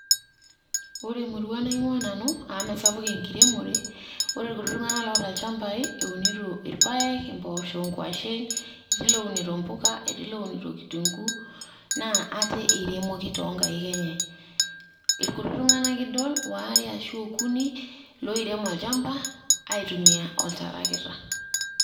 Ore emurua naing'ua nanu amu mesapuk enkiremore, Ore irkuti tung'anak oata ilchambai, eunito irpaek, imboosho, nkwashen, etii lounito mbuka, etii lounito kitunguu na ate eiremoki tonkaik enye. Ilkutik tung'anak idol ware ashu okuni loirem olchamba aitumia oltarakita.